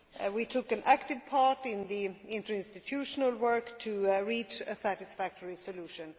We took an active part in the interinstitutional work to reach a satisfactory solution.